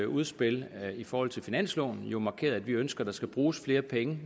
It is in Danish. udspil i forhold til finansloven jo markeret at vi ønsker der skal bruges flere penge